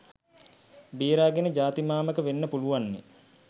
බේරාගෙන ජාති මාමක වෙන්න පුලුවන්නෙ.